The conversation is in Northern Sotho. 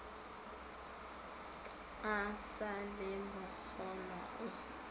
a sa le bokgolwa o